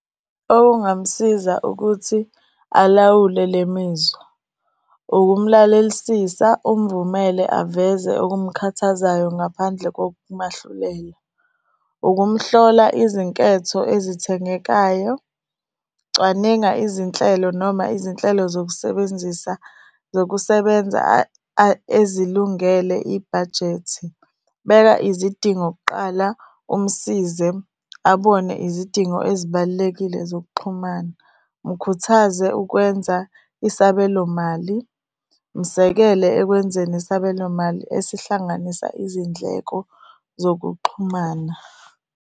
Okungamsiza ukuthi alawule le mizwa ukumlalelisisa umvumele aveze okumkhathazayo ngaphandle kokumahlulela. Ukumhlola izinketho ezithengekayo, cwaninga izinhlelo noma izinhlelo zokusebenzisa zokusebenza ezilungele ibhajethi. Beka izidingo kuqala, umsize abone izidingo ezibalulekile zokuxhumana. Mkhuthaze ukwenza isabelo mali, musekele ekwenzeni isabelo mali esihlanganisa izindleko zokuxhumana.